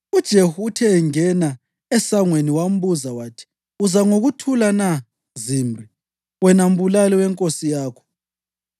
UJehu uthe engena esangweni, wambuza wathi, “Uza ngokuthula na, Zimri, wena mbulali wenkosi yakho?”